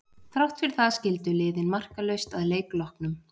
Þrátt fyrir það skildu liðin markalaust að leik loknum.